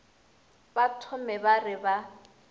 ba thome ba re ba